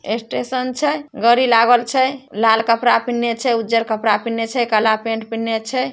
Station छै गड़ी लागल छै लाल कपड़ा पीहीनने छै उजर कपड़ा पिहीनने छै काला पेंट पिहिन्ले छै।